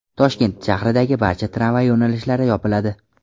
Toshkent shahridagi barcha tramvay yo‘nalishlari yopiladi.